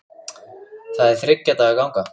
Það er þriggja daga ganga.